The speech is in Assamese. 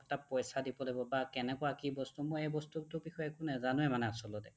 তাত পইচা দিব লাগিব বা কেনেকুৱা কি বস্তু মই এ বস্তুটোৰ বিষয়ে একোৱে নেজানোয়ে মানে আচলতে